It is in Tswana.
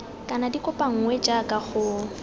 kana di kopanngwe jaaka go